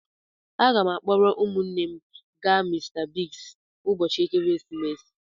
Aga m akpọrọ ụmụnne m ga Mr Biggs n'ụbọchị ekeresimesi.